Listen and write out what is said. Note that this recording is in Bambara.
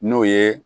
N'o ye